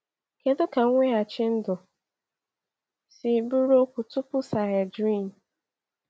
Kedu ka mweghachi ndụ siri bụrụ okwu tupu Sanhedrin?